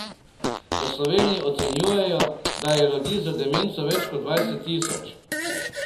V Sloveniji ocenjujejo, da je ljudi z demenco več kot dvajset tisoč.